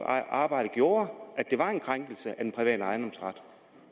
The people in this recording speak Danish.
arbejde gjorde at det var en krænkelse af den private ejendomsret